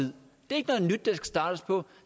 gad der startes på